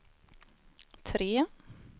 tre